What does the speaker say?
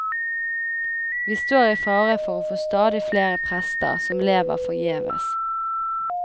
Vi står i fare for å få stadig flere prester som lever forgjeves.